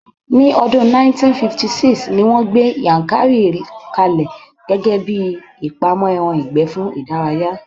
Ní odun 1956, ni wón gbé Yankari ka lẹ̀ gẹ́gẹ́bíi ibi ìpamọ́ ẹran ìgbẹ́ fún ìdárayá